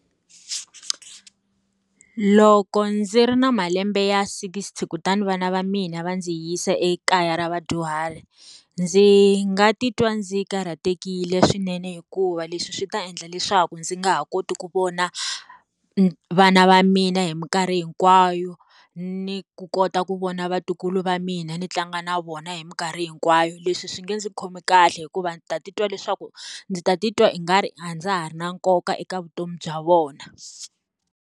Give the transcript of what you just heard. Loko ndzi ri na malembe ya sikisti kutani vana va mina va ndzi yisa ekaya ra vadyuhari, ndzi nga titwa ndzi karhatekile swinene hikuva leswi swi ta endla leswaku ndzi nga ha koti ku vona vana va mina hi minkarhi hinkwayo, ni ku kota ku vona vatukulu va mina ni tlanga na vona hi minkarhi hinkwayo. Leswi swi nga ndzi khomi kahle hikuva ta titwa leswaku, ndzi ta titwa i nga ri a ndza ha ri na nkoka eka vutomi bya vona.